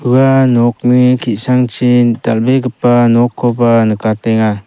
ua nokni ki·sangchi dal·begipa nokkoba nikatenga.